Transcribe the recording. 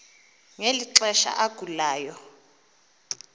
ngeli xesha agulayo